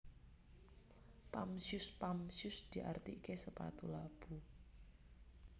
Pump Shoes Pump shoes diartiké sepatu labu